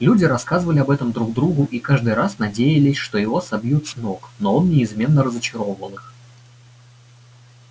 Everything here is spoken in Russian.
люди рассказывали об этом друг другу и каждый раз надеялись что его собьют с ног но он неизменно разочаровывал их